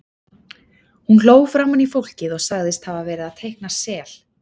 Hún hló framan í fólkið og sagðist hafa verið að teikna sel.